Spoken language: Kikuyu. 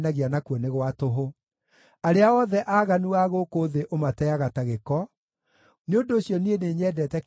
Arĩa othe aaganu a gũkũ thĩ ũmateaga ta gĩko; nĩ ũndũ ũcio niĩ nĩnyendete kĩrĩra kĩa watho waku.